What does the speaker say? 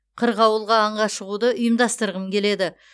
қырғауылға аңға шығуды ұйымдастырғым келеді